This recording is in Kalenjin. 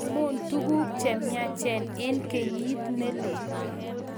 Achamun tuguk chemnyach eng kenyit nelel